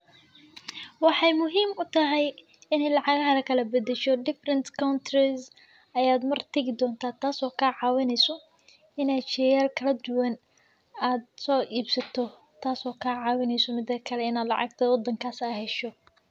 Waxay muhiim u tahay inay lacag kala beddesho. Different countries ayaa mar tagi doonta taasoo kaca wani isu inay shaqayn kala duwan aad soo iibsato taas oo kaca wani isu midakale inaad lacagtay odhan ka ah sheeg.